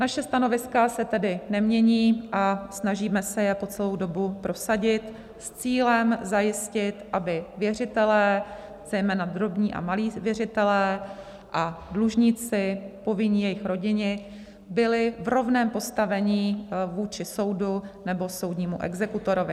Naše stanoviska se tedy nemění a snažíme se je po celou dobu prosadit s cílem zajistit, aby věřitelé, zejména drobní a malí věřitelé, a dlužníci, povinní, jejich rodiny byli v rovném postavení vůči soudu nebo soudnímu exekutorovi.